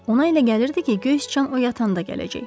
Ona elə gəlirdi ki, göy sıçan o yatanda gələcək.